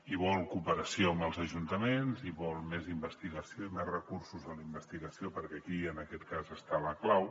i vol cooperació amb els ajuntaments i vol més investigació i més recursos en la investigació perquè aquí en aquest cas està la clau